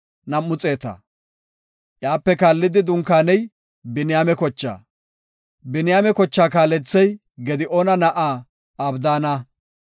Iyape kaallidi dunkaaney Biniyaame kochaa. Biniyaame kochaa kaalethey Gidi7oona na7aa Abdaana.